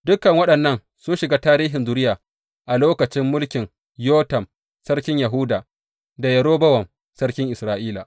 Dukan waɗannan sun shiga tarihin zuriya a lokacin mulkin Yotam sarkin Yahuda da Yerobowam sarkin Isra’ila.